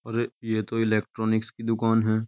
अरे ये तो इलेक्ट्रोनिक्स की दुकान है।